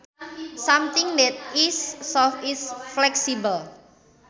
Something that is soft is flexible